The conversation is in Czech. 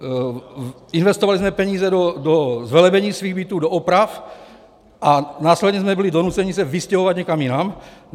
Investovali jsme peníze do zvelebení svých bytů, do oprav, a následně jsme byli donuceni se vystěhovat někam jinam.